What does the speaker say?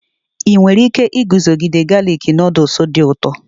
Ị nwere ike iguzogide galik nuduls dị ụtọ?